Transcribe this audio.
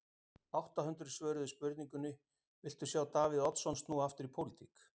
Átta hundruð svöruðu spurningunni, viltu sjá Davíð Oddsson snúa aftur í pólitík?